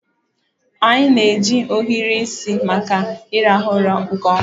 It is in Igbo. Anyị na-eji ohiri isi maka ira ụra nke ọma.